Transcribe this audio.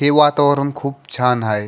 हे वातावरण खूप छान हाय.